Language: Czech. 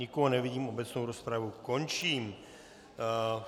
Nikoho nevidím, obecnou rozpravu končím.